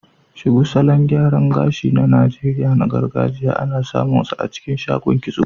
Shuku, salon gyaran gashi na gargajiya na Najeriya, ana samunsa a cikin shagon kitso.